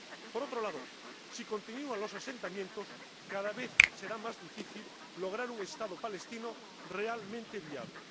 Por otro lado, si continúan los asentamientos, cada vez será más difícil lograr un Estado palestino realmente viable.